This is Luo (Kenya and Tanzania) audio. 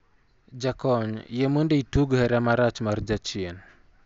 Jakony, yie mondo itug hera marach mar jachien